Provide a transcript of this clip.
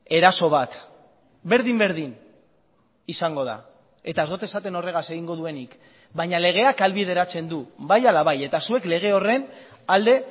eraso bat berdin berdin izango da eta ez dot esaten horregaz egingo duenik baina legeak ahalbideratzen du bai ala bai eta zuek lege horren alde